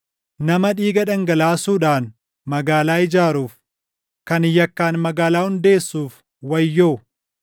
“Nama dhiiga dhangalaasuudhaan magaalaa ijaaruuf, kan yakkaan magaalaa hundeessuuf wayyoo!